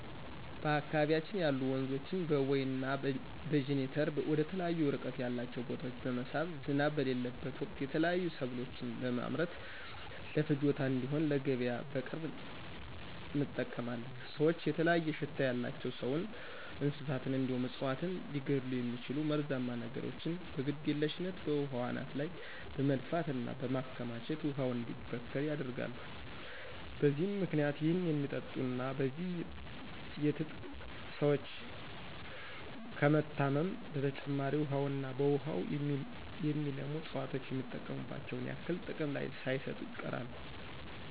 በአካባቢያችን ያሉ ወንዞችን በቦይ እና በጅኒተር ወደተለያዩ እርቀት ያላቸው ቦታወች በመሳብ ዝናብ በሌለበት ወቅት የተለያዩ ሰብሎችን በመምረት ለፍጆታ እንድሆን ለገቢያ በቅርብ እንጠቀማለን። ሰወች የተለያየ ሽታ ያላቸው ሰውን፣ እንስሳትን እንዲሁም እፅዋትን ሊገድሉ የሚችሉ መርዛማ ነገሮችን በግድየልሽነት በውሃው አናት ላይ በመድፋት እና በማከማቸት ውሃው እንዲበከል ያደርጋሉ። በዚህም ምክንያት ይህን የሚጠጡ እና በዚህ የትጥቅ ሰወች ከመታመም በተጨማሪ ውሀውና በውሃው የሚለሙ እፅዋቶች የሚጠበቅባቸውን ያክል ጥቅም ሳይሰጡ ይቀራሉ።